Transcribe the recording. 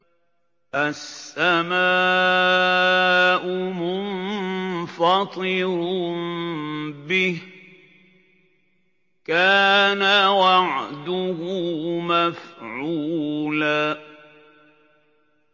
السَّمَاءُ مُنفَطِرٌ بِهِ ۚ كَانَ وَعْدُهُ مَفْعُولًا